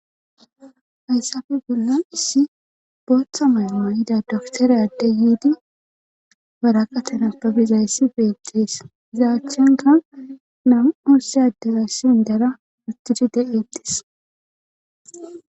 hayssafe bollan issi booththa mayo mayida doktorey ade yiidi baraqa tenapabizayssi beettees iza achchanka namu7usse addeza shindara uttidi de7eetis